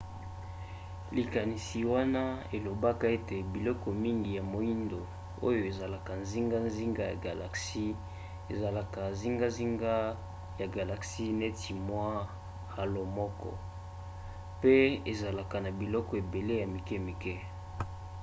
likanisi wana elobaka ete biloko mingi ya moindo oyo eza zingazinga ya galaxie ezalaka zingazinga ya galaxie neti mwa halo moko pe ezalaka na biloko ebele ya mikemike